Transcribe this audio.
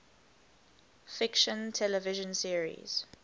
fiction television series